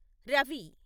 Ravi